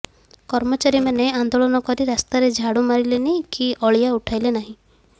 କର୍ମଚାରୀମାନେ ଆନ୍ଦୋଳନ କରି ରାସ୍ତାରେ ଝାଡ଼ୁ ମାରିଲେନି କି ଅଳିଆ ଉଠାଇଲେ ନାହିଁ